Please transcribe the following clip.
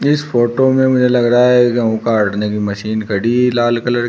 इस फोटो में मुझे लग रहा है गेहूं काटने की मशीन खड़ी है लाल कलर --